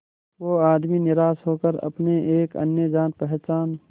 वो आदमी निराश होकर अपने एक अन्य जान पहचान